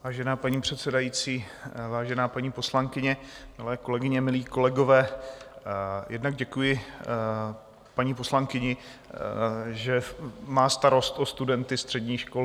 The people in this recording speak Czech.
Vážená paní předsedající, vážená paní poslankyně, milé kolegyně, milí kolegové, jednak děkuji paní poslankyni, že má starost o studenty středních škol.